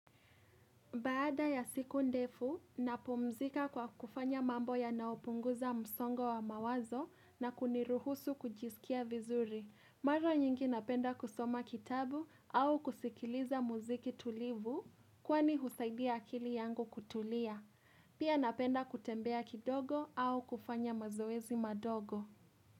Baada ya siku ndefu, napumzika kwa kufanya mambo yanayopunguza msongo wa mawazo na kuniruhusu kujisikia vizuri. Mara nyingi napenda kusoma kitabu au kusikiliza muziki tulivu kwani husaidia akili yangu kutulia. Pia napenda kutembea kidogo au kufanya mazoezi madogo.